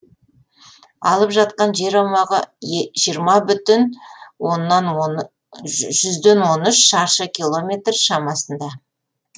алып жатқан жер аумағы жиырма бүтін жүзден он үш шаршы километр шамасында